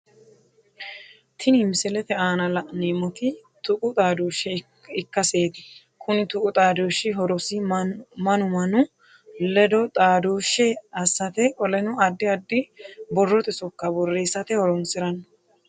Tinni misilete aanna la'neemoti tuqu xaadooshe ikaseeti konni tuqu xaadooshiti horosi manu Manu ledo xaadooshe asate qoleno addi addi borrote sokka boreessate horoonsirano.